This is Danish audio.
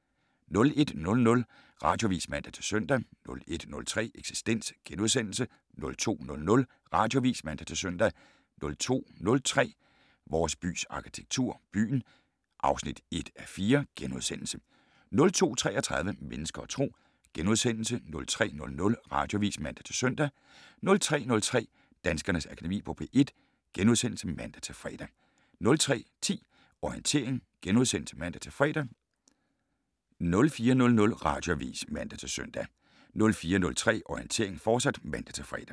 01:00: Radioavis (man-søn) 01:03: Eksistens * 02:00: Radioavis (man-søn) 02:03: Vores bys arkitektur - byen (1:4)* 02:33: Mennesker og Tro * 03:00: Radioavis (man-søn) 03:03: Danskernes Akademi på P1 *(man-fre) 03:10: Orientering *(man-fre) 04:00: Radioavis (man-søn) 04:03: Orientering, fortsat (man-fre)